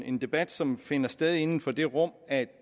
en debat som finder sted inden for det rum at